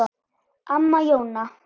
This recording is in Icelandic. Amma Jóna.